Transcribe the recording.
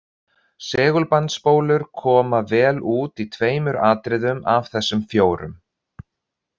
Segulbandsspólur koma vel út í tveimur atriðum af þessum fjórum.